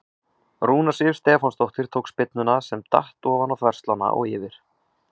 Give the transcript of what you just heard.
Rúna Sif Stefánsdóttir tók spyrnuna sem datt ofan á þverslánna og yfir.